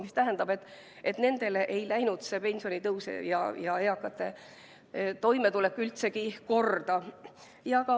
See tähendab, et nendele ei läinud see pensionitõus ja eakate toimetulek üldsegi korda.